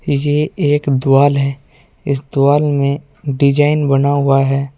ये एक द्वाल है। इस द्वाल में डिजाइन बना हुआ है।